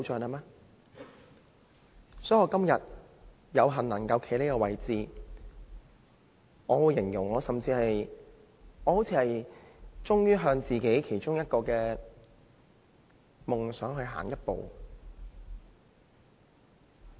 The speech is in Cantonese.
因此，我今天有幸能夠站在這個位置，我會形容為我終於向自己其中一個夢想向前邁進一步。